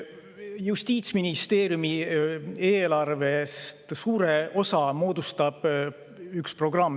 Justiitsministeeriumi eelarvest suure osa moodustab üks programm.